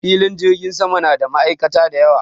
Filin jirgin sama na da ma'aikata da yawa.